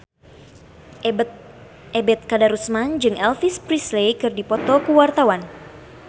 Ebet Kadarusman jeung Elvis Presley keur dipoto ku wartawan